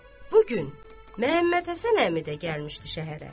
Bu gün Məhəmmədhəsən əmi də gəlmişdi şəhərə.